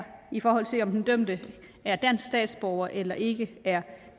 i forhold til om den dømte er dansk statsborger eller ikke er